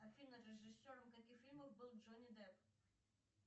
афина режиссером каких фильмов был джонни депп